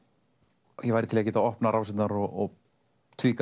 ég væri til í að geta opnað rásirnar og